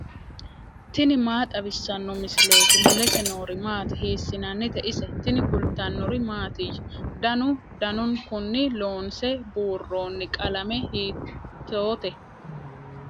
tini maa xawissanno misileeti ? mulese noori maati ? hiissinannite ise ? tini kultannori mattiya? Danu danunkunni loonsse buuronni qalame hiittotte?